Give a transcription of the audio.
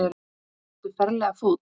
Ertu ferlega fúll?